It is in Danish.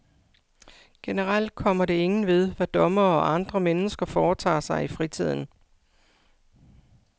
Generelt kommer det ingen ved, hvad dommere og andre mennesker foretager sig i fritiden.